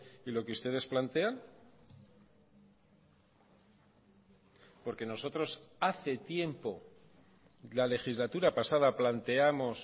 y lo que ustedes plantean porque nosotros hace tiempo la legislatura pasada planteamos